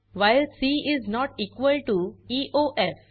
while c is not equal to EOF